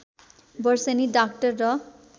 वर्षेनी डाक्टर र